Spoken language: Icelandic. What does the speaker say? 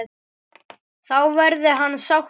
Þá verði hann sáttur.